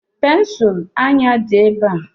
Pensụl anya dị ebe a.